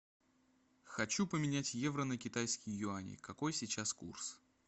хочу поменять евро на китайские юани какой сейчас курс